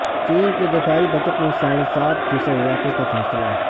چین کے دفاعی بجٹ میں ساڑھے سات فیصد اضافے کا فیصلہ